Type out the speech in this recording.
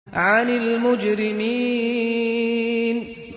عَنِ الْمُجْرِمِينَ